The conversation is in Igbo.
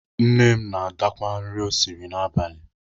Nne m na-adakwa nri o siri n'abalị.